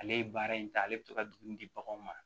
Ale ye baara in ta ale bɛ to ka dumuni di baganw ma